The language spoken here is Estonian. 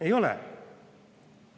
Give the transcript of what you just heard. Ei ole!